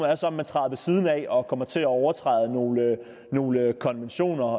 er så om man træder ved siden af og kommer til at overtræde nogle nogle konventioner